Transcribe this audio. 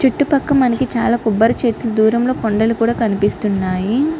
చుట్టూ పక్క మనకి చాలా కొబ్బరి చెట్లు దూరంగా కొండలు కూడా కనిపిస్తున్నాయి.